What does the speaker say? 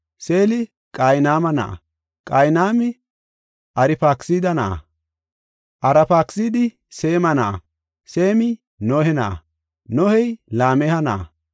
Seeli Qaynama na7a, Qaynami Arfakisaade na7a, Arfakisaadi Seema na7a, Seemi Nohe na7a, Nohey Laameha na7a,